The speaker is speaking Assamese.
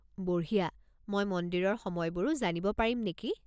বঢ়িয়া! মই মন্দিৰৰ সময়বোৰো জানিব পাৰিম নেকি?